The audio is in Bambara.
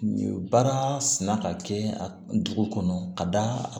Nin baara sina ka kɛ dugu kɔnɔ ka d'a kan